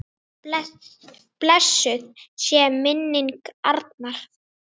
Blessuð sé minning Arnar.